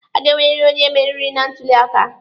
A ga-enweriri onye mmeri na ntuli aka.